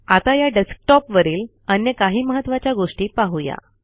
आता या डेस्कटॉपवरील अन्य काही महत्त्वाच्या गोष्टी पाहू या